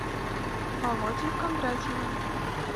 володей кондратьевым